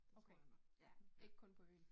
Okay, ja. Ikke kun på øen